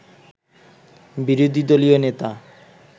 বিরোধী দলীয় নেতা